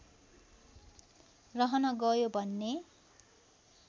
रहन गयो भन्ने